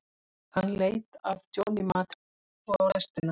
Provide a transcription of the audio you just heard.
Hann leit af Johnny Mate og svo á lestina.